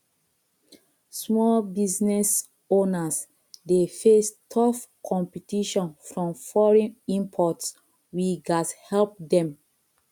small business owners dey face tough competition from foreign imports we gats help dem